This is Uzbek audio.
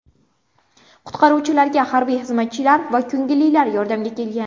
Qutqaruvchilarga harbiy xizmatchilar va ko‘ngillilar yordamga kelgan.